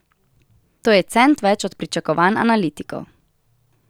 To je cent več od pričakovanj analitikov.